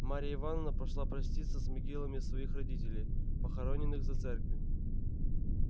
марья ивановна пошла проститься с могилами своих родителей похороненных за церковью